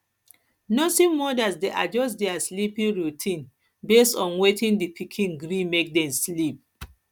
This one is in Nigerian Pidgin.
nursing mothers de adjust their sleeping routine based on when di pikin gree make dem sleep